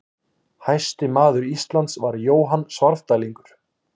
Hæsti maður Íslands var Jóhann Svarfdælingur.